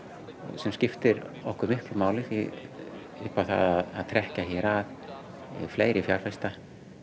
sem skiptir okkur miklu máli í að trekkja að fleiri fjárfesta